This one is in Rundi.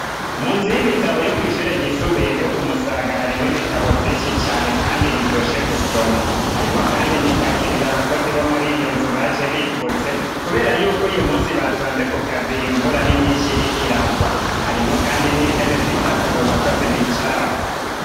Mu nzu y'ibitabo yo kwishure ryisumbuye ryo kumusaga harimwo ibitabo vyinshi cane, kandi biryoshe gusoma harimwo, kandi imitaka ibiri abakozi bo muri iyo nzu baje bipfutse, kubera yuko uyu musi batonze ku kazi imvura ari nyinshi iriko iragwa harimwo, kandi n'intebe zitatu abo bakozi bicarako.